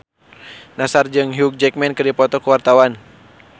Nassar jeung Hugh Jackman keur dipoto ku wartawan